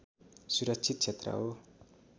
सुरक्षित क्षेत्र हो